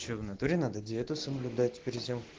что в натуре надо диету соблюдать перед тем